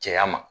Cɛya ma